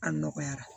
A nɔgɔyara